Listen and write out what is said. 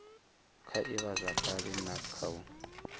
kha ivhazwakale na kha u